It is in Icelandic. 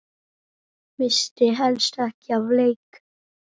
Missti helst ekki af leik.